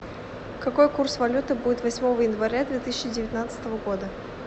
какой курс валюты будет восьмого января две тысячи девятнадцатого года